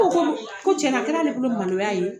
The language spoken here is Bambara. Ko o ko dun ko cɛna a kɛra a bolo maloya ye